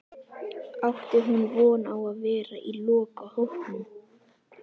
Átti hún von á að vera í lokahópnum?